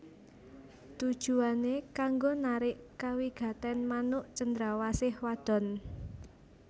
Tujuwané kanggo narik kawigatèn manuk cendrawasih wadon